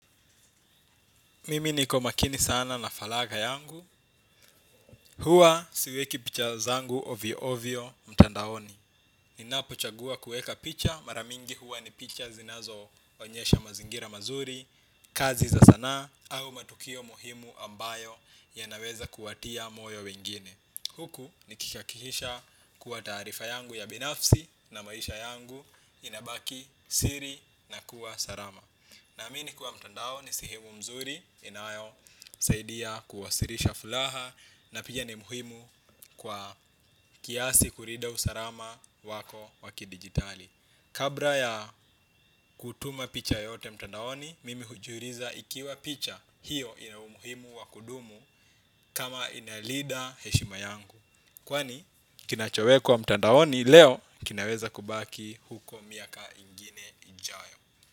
Mimi niko makini sana na faraga yangu. Huwa siweki picha zangu ovyo ovyo mtandaoni. Ninapochagua kuweka picha mara mingi huwa ni picha zinazoonyesha mazingira mazuri, kazi za sanaa au matukio muhimu ambayo yanaweza kuwatia moyo wengine. Huku nikihakikisha kuwa taarifa yangu ya binafsi na maisha yangu inabaki siri na kuwa salama. Naamini kuwa mtandao ni sehemu nzuri inayosaidia kuwasilisha furaha na pia ni muhimu kwa kiasi kulinda usalama wako wa kidigitali. Kabla ya kutuma picha yoyote mtandaoni, mimi hujiuliza ikiwa picha hiyo ina umuhimu wa kudumu kama inalinda heshima yangu. Kwani kinachowekwa mtandaoni leo kinaweza kubaki huko miaka ingine ijayo.